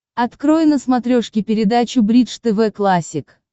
открой на смотрешке передачу бридж тв классик